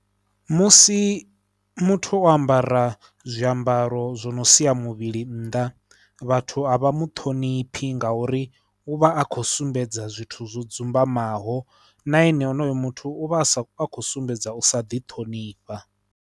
Musi muthu o ambara zwiambaro zwo no sia muvhili nnḓa vhathu a vha mu ṱhoniphi ngauri u vha a khou sumbedza zwithu zwo dzumbamaho na ene onoyo muthu u vha a sa khou sumbedza u sa ḓiṱhonifha.